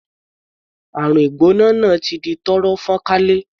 Àrùn ìgbóná náà ti di tọ́rọ́ fọ́nkálé.